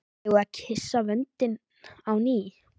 Eigum við að kyssa vöndinn á ný?